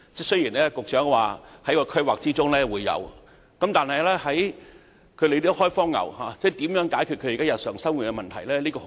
雖然局長說在規劃中會有這些設施，但如何解決"開荒牛"現時日常生活的問題？